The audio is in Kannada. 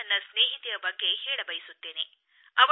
ನಾನು ನನ್ನ ಸ್ನೇಹಿತೆಯ ಬಗ್ಗೆ ಹೇಳಬಯಸುತ್ತೇನೆ